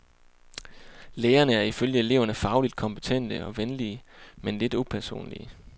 Lærerne er ifølge eleverne fagligt kompetente og venlige men lidt upersonlige.